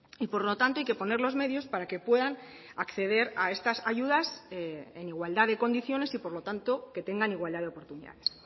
y por lo tanto hay que poner los medios para que puedan acceder a estas ayudas en igualdad de condiciones y por lo tanto que tengan igualdad de oportunidades